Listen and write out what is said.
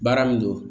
Baara min don